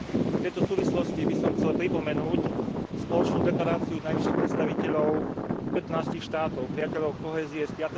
V tejto súvislosti by som chcel pripomenúť spoločnú deklaráciu najvyšších predstaviteľov pätnástich štátov Priateľov kohézie z